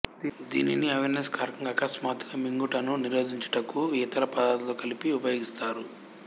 దీనిని అవెర్సివ్ కారకం గా అకస్మాత్తుగా మ్రింగుటను నిరోధించుటకు యితర పదార్థాలతో కలిపి ఉపయోగిస్తారు